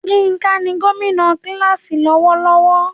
Yinka ni gómìnà kíláàsì lọ́wọ́lọ́wọ́.